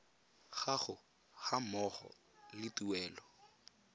gago ga mmogo le tuelo